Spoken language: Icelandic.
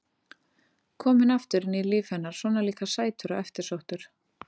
Kominn aftur inn í líf hennar, svona líka sætur og eftirsóttur.